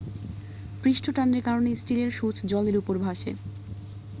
পৃষ্ঠটানের কারণে স্টিলের সূঁচ জলের উপরে ভাসে